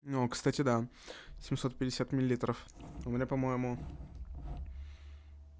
ну кстати да семьсот пятьдесят миллилитров у меня по-моему